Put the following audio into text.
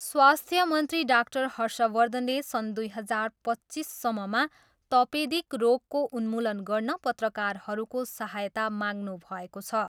स्वास्थ्य मन्त्री डाक्टर हर्षवर्धनले सन् दुई हजार पच्चिससम्ममा तपेदिक रोगको उन्मूलन गर्न पत्रकारहरूको सहायता माग्नुभएको छ।